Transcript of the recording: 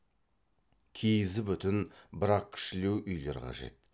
киізі бүтін бірақ кішілеу үйлер қажет